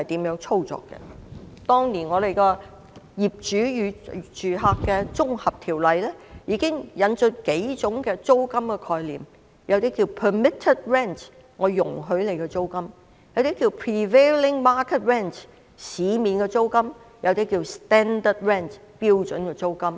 《業主與租客條例》當年已經引進數種租金的概念，其中一種稱為"准許租金"，另一種稱為"市值租金"，還有一種稱為"標準租金"。